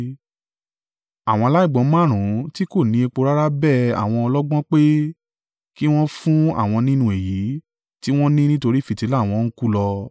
Àwọn aláìgbọ́n márùn-ún tí kò ní epo rárá bẹ àwọn ọlọ́gbọ́n pé kí wọn fún àwọn nínú èyí tí wọ́n ní nítorí fìtílà wọn ń kú lọ.